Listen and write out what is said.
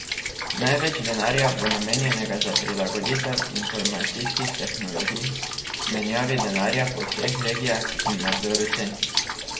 Največ denarja bo namenjenega za prilagoditev informacijskih tehnologij, menjavi denarja po vseh regijah in nadzoru cen.